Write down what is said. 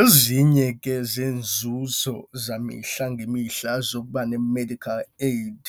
Ezinye ke zeenzuzo zemihla ngemihla zokuba ne-medical aid